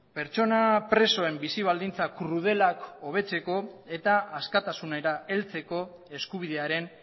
pertsona presoen bizi baldintza krudelak hobetzeko eta askatasunera heltzeko eskubidearen